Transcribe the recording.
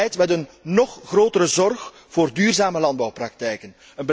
Een beleid met een nog grotere zorg voor duurzame landbouwpraktijken.